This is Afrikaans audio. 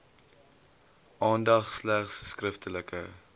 aandag slegs skriftelike